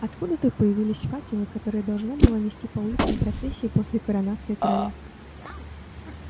откуда-то появились факелы которые должна была нести по улицам процессия после коронации короля